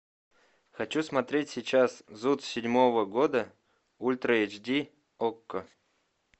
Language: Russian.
хочу смотреть сейчас зуд седьмого года ультра эйч ди окко